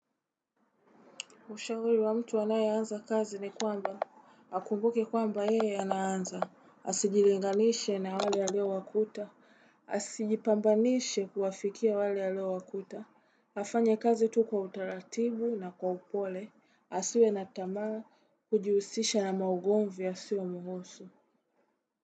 Ushauri wa mtu anaye anza kazi ni kwamba, akumbuke kwamba yeye anaanza, asijilinganishe na wale alio wakuta, asijipambanishe kuwafikia wale aliwakuta, afanye kazi tu kwa utaratibu na kwa upole, asiwe na tamaa kujihusisha na maugomvi yasio muhusu.